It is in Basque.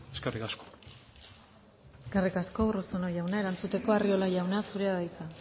eskerrik asko eskerrik asko urruzuno jauna erantzuteko arriola jauna zurea da hitza